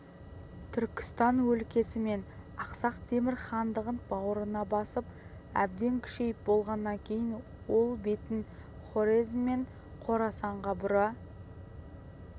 түркістан өлкесі мен ақсақ темір хандығын бауырына басып әбден күшейіп болғаннан кейін ол бетін хорезм мен қорасанға бұра